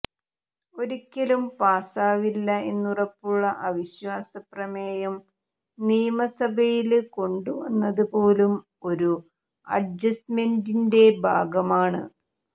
ഒരിക്കലും പാസാവില്ല എന്നുറപ്പുള്ള അവിശ്വാസ പ്രമേയം നിയമസഭയില് കൊണ്ടുവന്നത് പോലും ഈ അഡ്ജസ്റ്റ്മെന്റിന്റെ ഭാഗമാണ്